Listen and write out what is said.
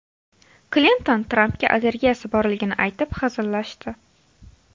Klinton Trampga allergiyasi borligini aytib hazillashdi.